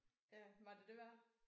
Ja var det det værd?